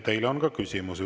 Teile on ka küsimusi.